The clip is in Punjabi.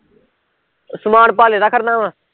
ਸਮਾਨ ਪਾਲੇ ਦਾ ਖੜਨਾ ਵਾ